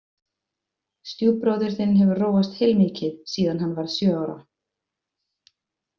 Stjúpbróðir þinn hefur róast heilmikið síðan hann varð sjö ára